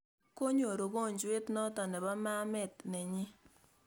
konyor ungojwet noton eng ma met ne nyin